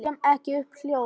Kem ekki upp hljóði.